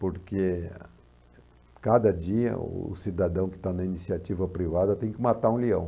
porque cada dia o cidadão que está na iniciativa privada tem que matar um leão.